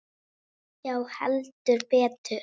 Já, heldur betur.